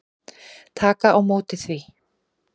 Taka á móti því.